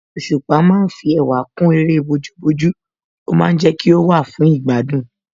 Òṣùpá ma ń fi ẹwà kún eré bójú bójú ó ma ń jẹ́ kí ó wà fún ìgbádùn